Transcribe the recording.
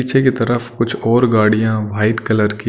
पीछे की तरफ कुछ और गाड़ियां वाइट कलर की--